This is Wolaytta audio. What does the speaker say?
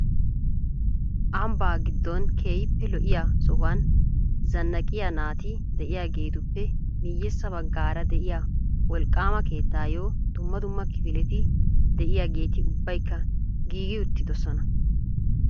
Ambba giddon keehippe lo''iyaa sohuwaan zannaqqiyaa naati de'iyaageetuppe miyyeessa baggaara de'iyaa wolqqaama keettayyo dumma dumma kifileti de'iyaageeti ubbaykka giigi uttisoona.